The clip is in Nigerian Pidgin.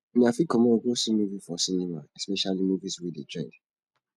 una fit comot go see movie for cinema especially movies wey dey trend